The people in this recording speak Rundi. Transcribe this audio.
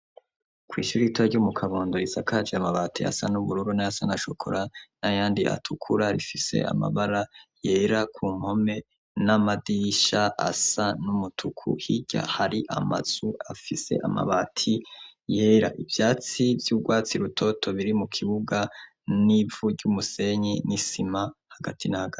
Kw'ishura ita ryumu kabundo risakaje amabati asa n'ubururo nayasa n'ashokora na yandi atukura rifise amabara yera ku mpome n'amadisha asa n'umutuku hirya hari amazu afise amabati yera ivyatsi vy'urwatsi rutoto biri mu kibuga n'ivuryumu osenyi n'isima hagati na ag.